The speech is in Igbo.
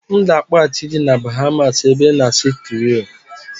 M ga-akpọghachị gị na Bahamas ebe ị na-asụ Kriiol